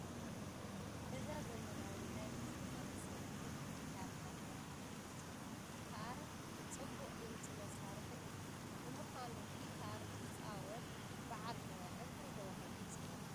እዛ ዘመናዊ ናይ ሙዚቃ መሳርሒት ጊታር እናተባህለት ትፅዋዕ፡፡ ጌታት ፅቡቕ ድምፂ መሳርሒ እያ፡፡ ንምዃኑ ጊታር ዝፃወት በዓል ሞያ እንታይ ተባሂሉ ይፅዋዕ?